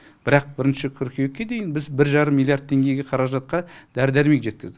бірақ бірінші қыркүйекке дейін біз бір жарым миллиард теңгеге қаражатқа дәрі дәрмек жеткіздік